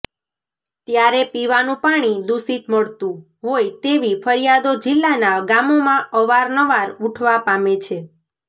ત્યારે પીવાનું પાણી દુષિત મળતું હોય તેવી ફરિયાદો જિલ્લાના ગામોમાં અવાર નવાર ઉઠવા પામે છે